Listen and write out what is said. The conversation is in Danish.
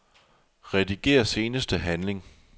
Rediger seneste handling.